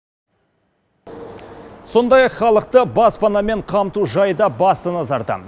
сондай ақ халықты баспанамен қамту жайы да басты назарда